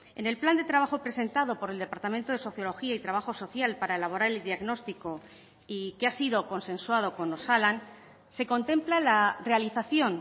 en el plan de trabajo presentado por el departamento de sociología y trabajo social para elaborar el diagnóstico y que ha sido consensuado con osalan se contempla la realización